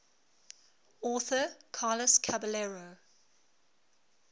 author carlos caballero